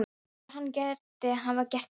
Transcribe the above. Heldurðu að hann geti hafa gert þetta?